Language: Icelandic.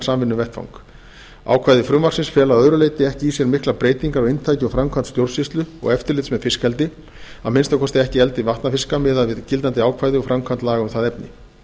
samvinnuvettvang ákvæði frumvarpsins fela að öðru leyti ekki í sér miklar breytingar á inntaki og framkvæmd stjórnsýslu og eftirlits með fiskeldi að minnsta kosti ekki eldi vatnafiska miðað við gildandi ákvæði og framkvæmd laga um það efni